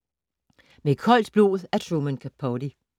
Med koldt blod af Truman Capote